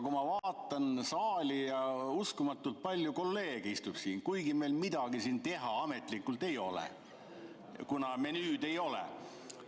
Ma vaatan saali ja uskumatult palju kolleege istub siin, kuigi meil ametlikult midagi teha ei ole, kuna menüüd ei ole.